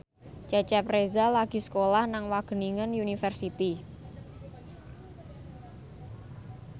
Cecep Reza lagi sekolah nang Wageningen University